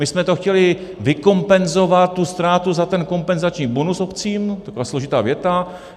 My jsme to chtěli vykompenzovat, tu ztrátu, za ten kompenzační bonus obcím, taková složitá věta.